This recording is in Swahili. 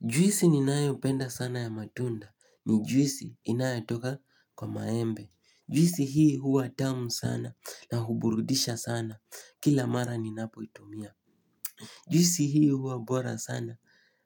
Juisi ninayopenda sana ya matunda ni juisi inayatoka kwa maembe. Juisi hii huwa tamu sana na huburudisha sana kila mara ninapoitumia. Juisi hii huwa bora sana